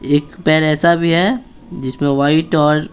एक पेर ऐसा भी है जिसमें वाइट और --